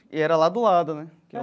E era lá do lado, né?